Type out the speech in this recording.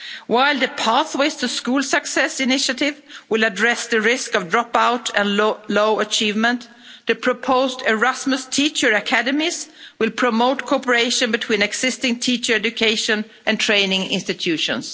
While the pathways to the school success initiative will address the risk of dropout and low achievement, the proposed Erasmus teacher academies will promote cooperation between existing teacher education and training institutions.